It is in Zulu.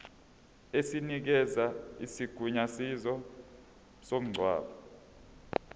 esinikeza isigunyaziso somngcwabo